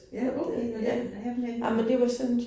Ja, okay nåh den her henne